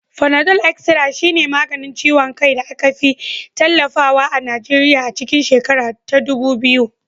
Fanadol Estara shine maganin ciwon kai da aka fi tallatawa a Nigeriya a cikin shekara ta dubu biyu.